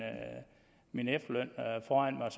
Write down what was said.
min efterløn foran mig